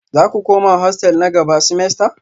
Za ku koma hostel na gaba semester?